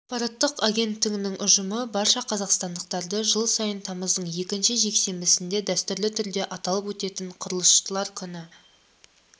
ақпараттық агенттігінің ұжымы барша қазақстандықтарды жыл сайын тамыздың екінші жексенбісінде дәстүрлі түрде аталып өтетін құрылысшылар күні